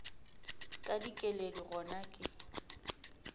ka dikeledi gona ga ke